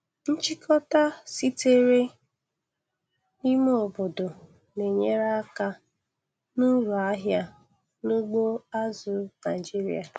Nchịkọta sitere n' ime obodo na-enyere aka n'uru ahịa n'ugbo azụ̀ Naịjiria.